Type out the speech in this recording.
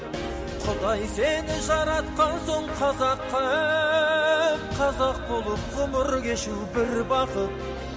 құдай сені жаратқан соң қазақ қып қазақ болып ғұмыр кешу бір бақыт